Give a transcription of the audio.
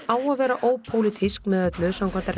á að vera ópólitísk með öllu